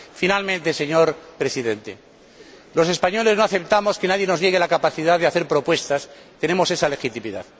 Finalmente, señor Presidente, los españoles no aceptamos que nadie nos niegue la capacidad de hacer propuestas. Tenemos esa legitimidad.